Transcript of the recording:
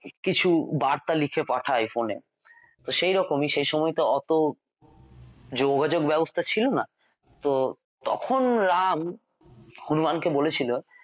কিছু বার্তা লিখে পাঠায় phone এ সেই রকমই সেই সময় অতো যোগাযোগ ব্যবস্থা ছিল না তো তখন রাম হনুমান কে বলেছিল